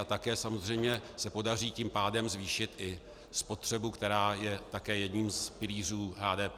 A také samozřejmě se podaří tím pádem zvýšit i spotřebu, která je také jedním z pilířů HDP.